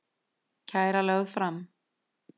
Kæra lögð fram